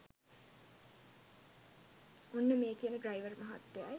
ඔන්න මේ කියන ඩ්‍රයිවර් මහත්තයයි